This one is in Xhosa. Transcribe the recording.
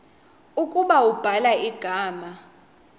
ukuba ubhala igama